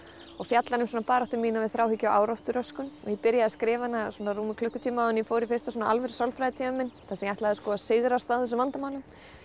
og fjallar um baráttu mína við áráttu þráhyggjuröskun ég byrjaði að skrifa hana klukkutíma áður en ég fór í fyrsta alvöru sálfræðitímann þar sem ég ætlaði að sigrast á þessum vandamálum